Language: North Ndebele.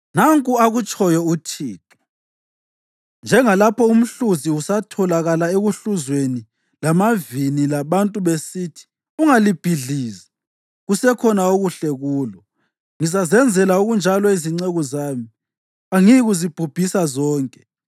Nanku akutshoyo uThixo: “Njengalapho umhluzi usatholakala ehlukuzweni lamavini labantu besithi, ungalibhidlizi, kusekhona okuhle kulo, ngizazenzela okunjalo izinceku zami; angiyikuzibhubhisa zonke.